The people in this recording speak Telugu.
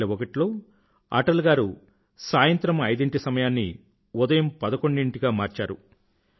2001 లో అటల్ గారు సాయంత్రం ఐదింటి సమయాన్ని ఉదయం పదకొండింటికి గా మార్చారు